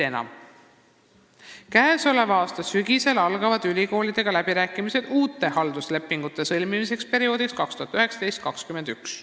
Käesoleva aasta sügisel algavad ülikoolidega läbirääkimised uute halduslepingute sõlmimise üle perioodiks 2019–2021.